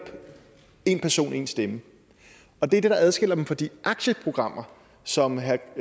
én person én stemme og det er det der adskiller dem fra de aktieprogrammer som herre